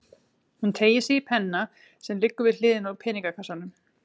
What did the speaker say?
Hún teygir sig í penna sem liggur við hliðina á peningakassanum.